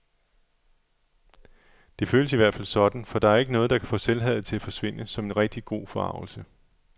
Det føles i hvert fald sådan, for der er ikke noget, der kan få selvhadet til at forsvinde som en rigtig god forargelse.